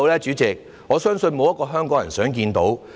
主席，我相信沒有一個香港人想看到。